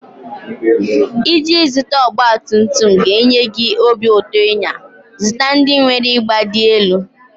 Iji zụta ọgbatumtum ga-enye gị obi ụtọ ịnya, zụta ndị nwere ịgba dị elu.